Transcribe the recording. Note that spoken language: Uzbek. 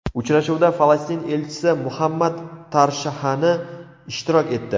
Uchrashuvda Falastin elchisi Muhammad Tarshahani ishtirok etdi.